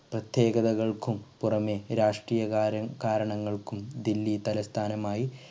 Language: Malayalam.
പ്രത്തേകതകൾക്കും പുറമെ രാഷ്ട്രീയ കാരൻ കാരണങ്ങൾക്കും ദില്ലി തലസ്ഥാനമായി